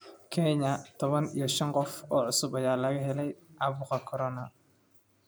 Kenya: tobaan iyo shaan qof oo cusub ayaa laga helay caabuqa Corona